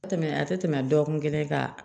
Tɛ tɛmɛ a tɛ tɛmɛ dɔgɔkun kelen kan